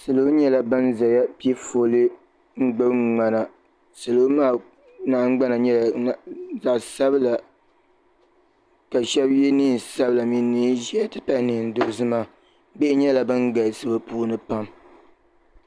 Salo nyɛla ban zaya pe foli n-gbubi ŋmana salo maa nahingbana nyɛla zaɣ'sabila ka shɛba ye neen'sabila mini neen'ʒɛhi nti pahi neen'dozima bihi nyɛla ban galisi bɛ puuni pam.